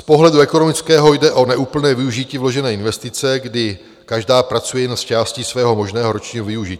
Z pohledu ekonomického jde o neúplné využití vložené investice, kdy každá pracuje jen s částí svého možného ročního využití.